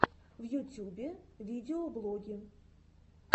в ютюбе видеоблоги